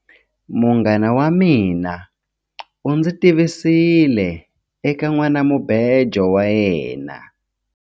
Munghana wa mina u ndzi tivisile eka nhwanamubejo wa yena.